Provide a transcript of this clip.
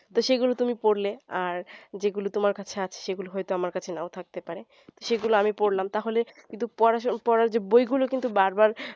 তো সেগুলো তুমি পড়লে আর তোমার যেই গুলা কাছে আছে সেগুলা হয়তো আমার কাছে নাও থাকতে পারে তো সেগুলা আমি পড়লাম তাহলে কিন্তু পড়ার পড়ার যে বই গুলো কিন্তু বারবার